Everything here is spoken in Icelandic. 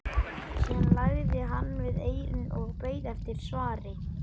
Síðan lagði hann við eyrun og beið eftir svari.